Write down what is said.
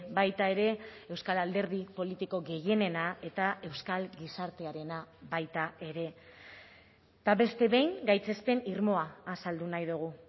baita ere euskal alderdi politiko gehienena eta euskal gizartearena baita ere eta beste behin gaitzespen irmoa azaldu nahi dugu